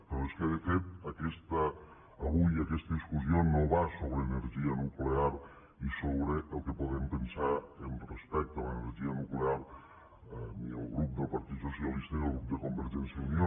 però és que de fet avui aquesta discussió no va sobre energia nuclear i sobre el que podem pensar respecte a l’energia nuclear ni el grup del partit socialista ni el grup de convergència i unió